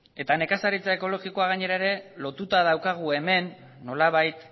eta nekazaritza ekologikoa gainera ere lotuta daukagu hemen nolabait